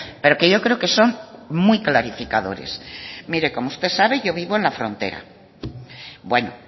pero que yo creo que son muy clarificadores mire como usted sabe yo vivo en la frontera bueno